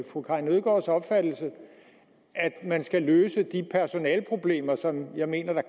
fru karin nødgaards opfattelse at man skal løse de personaleproblemer som jeg mener der